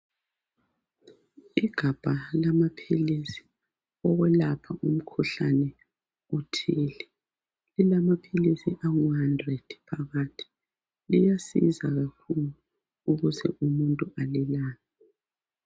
Igabha lamaphilisi okulapha umkhuhlane othile .lilamaphilisi angu100 phakathi .Liyasiza kakhulu ukuze umuntu alulame.